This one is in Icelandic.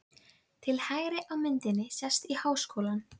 Til hægri á myndinni sést í Háskólann.